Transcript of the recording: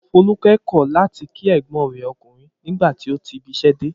Folúkẹ́ kọ̀ láti kí ẹ̀gbọ́n rẹ̀ ọkùnrin nígbà tí ó ti ibiṣẹ́ dé.